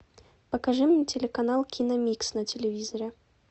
покажи мне телеканал киномикс на телевизоре